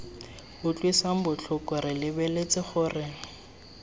utlwisang botlhoko re lebeletse gore